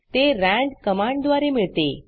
ते रांद कमांडद्वारे मिळते